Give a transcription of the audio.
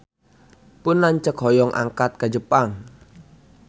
Pun lanceuk hoyong angkat ka Jepang